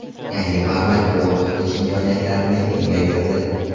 Yangi format muloqot qilish imkoniyatlarini kengaytirdi.